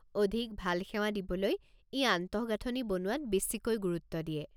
অধিক ভাল সেৱা দিবলৈ ই আন্তঃগাঁথনি বনোৱাত বেছিকৈ গুৰুত্ব দিয়ে।